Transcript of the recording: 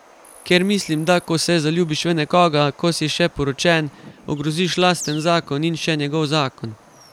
Ker mislim, da ko se zaljubiš v nekoga, ko si še poročen, ogroziš lasten zakon in še njegov zakon.